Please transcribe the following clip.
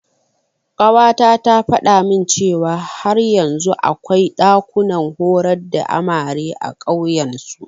Ƙawata ta faɗa min cewa har yanzu akwai ɗakunan horar da amare a ƙauyen su.